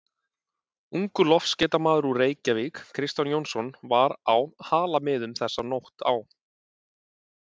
Ungur loftskeytamaður úr Reykjavík, Kristján Jónsson, var á Halamiðum þessa nótt á